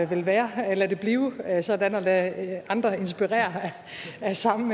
vil være lad det blive ved at være sådan og lad andre inspireres af samme